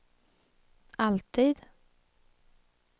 alltid